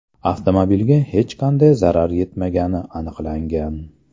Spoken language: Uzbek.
Avtomobilga hech qanday zarar yetmagani aniqlangan.